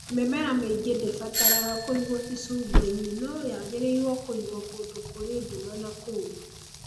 Mĩmera mĩingĩ ndĩbataraga kũigwo icungwa-inĩ, no yagĩrĩirũo kũigwo kũndũ kũrĩ nduma na kũũmũ.